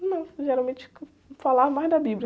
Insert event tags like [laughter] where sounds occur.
Não, geralmente [unintelligible] falava mais da Bíblia.